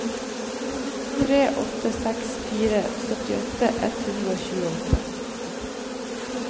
tre åtte seks fire syttiåtte ett hundre og tjueåtte